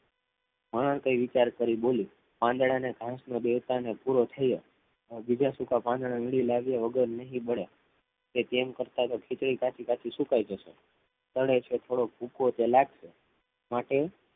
બાલા કંઈક વિચાર કરીને બોલી પાંદડા ને ઘાસ મા બેસતા પૂરો થયો બીજા સૂકા પાંદડા ને લાવ્યા વગર નહીં બળે તે તેમ કરતા કરતા ખીચડી કાચી કાચી સુકાઈ જશે પણ છે થોડોક એ ભૂકો ત્યાં થોડોક લાગશે માટે